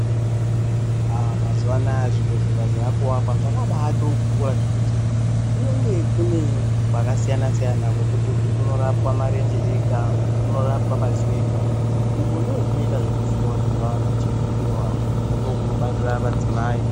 Aah mazuwaanaa zvibhedhlera zvakuvakwa zvakabaatokura zvekuti kunenge kune kwakasiyana-siyana kwekuti uku kunorapwa marenje ega, uku kunorapwa madziso ega, uku ndokunoitwa zvekuvhiiwa vhiiwa vantu vachivhuriwa, uku ndokunobarira madzimai.